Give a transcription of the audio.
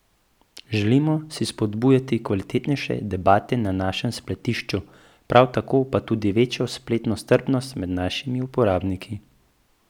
Želimo si spodbujati kvalitetnejše debate na našem spletišču, prav tako pa tudi večjo spletno strpnost med našimi uporabniki.